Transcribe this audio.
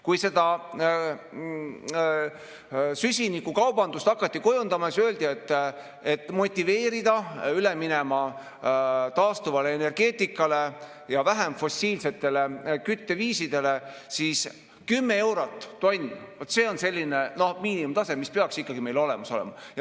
Kui seda süsinikukaubandust hakati kujundama, siis öeldi, et motiveerimaks üle minema taastuvale energeetikale ja vähem fossiilsetele kütteviisidele, siis 10 eurot tonn, see on selline miinimumtase, mis peaks ikkagi meil olemas olema.